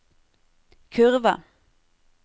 kurve